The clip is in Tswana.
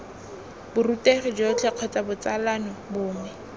borutegi jotlhe kgotsa botsalano bongwe